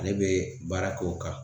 Ale be baara k'o kan